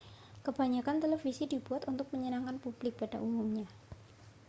kebanyakan televisi dibuat untuk menyenangkan publik pada umumnya